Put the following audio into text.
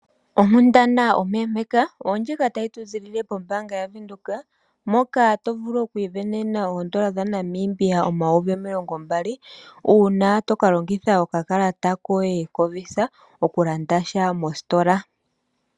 Onkundana ompeempeka oondjika tayi tu ziilile pombaanga yaVenduka, moka to vulu oku isindanena oondola dhaNamibia omayovi omilongo mbali, uuna toka longitha okakalata koye koVisa oku landa sha mositola.